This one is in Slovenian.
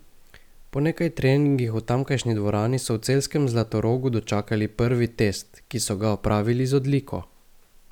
Po nekaj treningih v tamkajšnji dvorani so v celjskem Zlatorogu dočakali prvi test, ki so ga opravili z odliko.